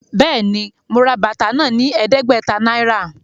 Béèni, mo rà bàtà náà ní ẹdẹgbẹta náírà